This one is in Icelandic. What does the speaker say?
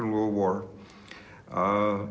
og vonar að